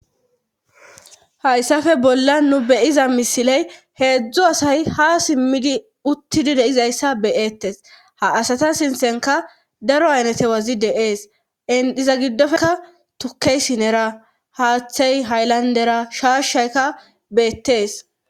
Hayssafe bolla nu beyiza misiley heedzdzu asay ha simmidi uttidi deizayssa beyeettes ha asata sintenka daro aynete wazi deees indhiza giddofeka tukkey sinera haathey hayllandera shaashayka beettees.